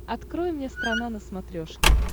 открой мне страна на смотрешке